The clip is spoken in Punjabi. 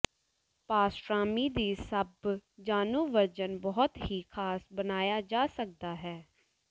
ਪਾਸਟ੍ਰਾਮੀ ਦੀ ਸਭ ਜਾਣੂ ਵਰਜਨ ਬਹੁਤ ਹੀ ਖਾਸ ਬਣਾਇਆ ਜਾ ਸਕਦਾ ਹੈ